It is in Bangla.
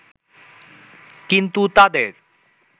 কিন্তু তাদের